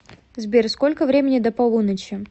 сбер сколько времени до полуночи